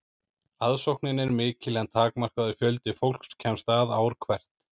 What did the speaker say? aðsóknin er mikil en takmarkaður fjöldi fólks kemst að ár hvert